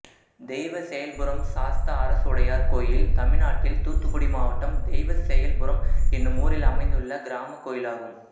தெய்வசெயல்புரம் சாஸ்தா அரசுடையார் கோயில் தமிழ்நாட்டில் தூத்துக்குடி மாவட்டம் தெய்வசெயல்புரம் என்னும் ஊரில் அமைந்துள்ள கிராமக் கோயிலாகும்